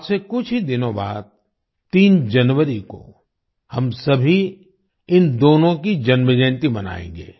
आज से कुछ ही दिनों बाद 3 जनवरी को हम सभी इन दोनों की जन्मजयंती मनाएंगे